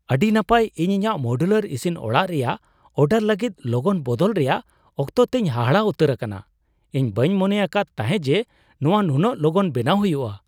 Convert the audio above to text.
ᱟᱹᱰᱤ ᱱᱟᱯᱟᱭ ! ᱤᱧ ᱤᱧᱟᱹᱜ ᱢᱳᱰᱩᱞᱟᱨ ᱤᱥᱤᱱ ᱚᱲᱟᱜ ᱨᱮᱭᱟᱜ ᱚᱨᱰᱟᱨ ᱞᱟᱹᱜᱤᱫ ᱞᱚᱜᱚᱱ ᱵᱚᱫᱚᱞ ᱨᱮᱭᱟᱜ ᱚᱠᱛᱚ ᱛᱮᱞ ᱦᱟᱦᱟᱲᱟᱜ ᱩᱛᱟᱹᱨ ᱟᱠᱟᱱᱟ ᱾ ᱤᱧ ᱵᱟᱹᱧ ᱢᱚᱱᱮ ᱟᱠᱟᱫ ᱛᱟᱸᱦᱮ ᱡᱮ, ᱱᱚᱣᱟ ᱱᱩᱱᱟᱹᱜ ᱞᱚᱜᱚᱱ ᱵᱮᱱᱟᱣ ᱦᱩᱭᱩᱜᱼᱟ ᱾